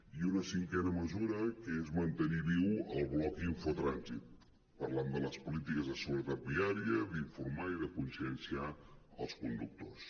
i una cinquena mesura que és mantenir viu el blog infotrànsit parlant de les polítiques de seguretat viària d’informar i de conscienciar els conductors